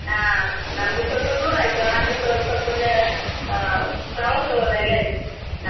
ಅಹ್ ನಮ್ಗೆ ಸ್ವಲ್ಪ ದೂರ ಆಯ್ತು, ಆದ್ರೂ ಒಂದು ಸ್ವಲ್ಪ ಅಹ್ ಪ್ರವಾಸ ಹೋದಾಗೆ ಆಯ್ತು ನಮ್ಗೆ.